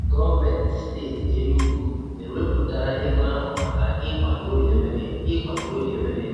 Gọọmenti steeti Enugwu ewepụtala ego ahụ maka ịkwaga Orie Emene. ịkwaga Orie Emene.